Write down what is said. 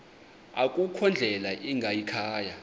akukho ndlela ingayikhaya